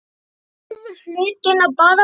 Þeir gerðu hlutina bara vel.